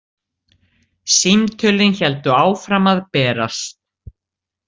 Símtölin héldu áfram að berast.